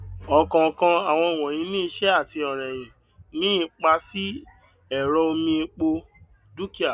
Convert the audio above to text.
ọkọọkan àwọn wọnyí ní ìṣe àti ọrẹyìn ní ipá sí ẹrọ omi epo dúkìá